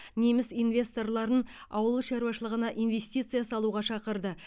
неміс инвесторларын ауыл шаруашылығына инвестиция салуға шақырды